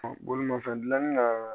Bolimafɛn dilanni na